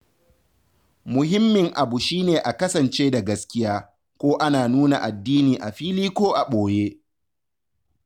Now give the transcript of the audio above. Muhimmin abu shi ne a kasance da gaskiya, ko ana nuna addini a fili ko a boye.